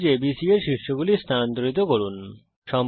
ত্রিভুজ ABC এর শীর্ষগুলি স্থানান্তরিত করুন